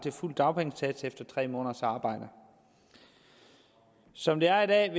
til fuld dagpengesats efter tre måneders arbejde som det er er